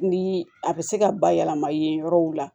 Ni a bɛ se ka bayɛlɛma yen yɔrɔw la